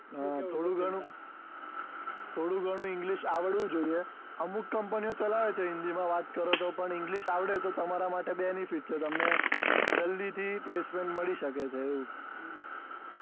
હા થોડી ઘણી થોડી ઘણી english આવડવું જોઈએ અમુખ company ઓ ચલાવે છે હિન્દી માં વાત્ત કરો તો પણ english આવડે તમારા માટે BENIFICIALbenifit છે એમને જલ્દી થી placement મળી શકે છે